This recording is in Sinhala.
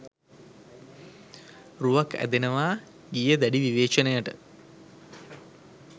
රුවක් ඇදෙනවා ගීය දැඩි විවේචනයට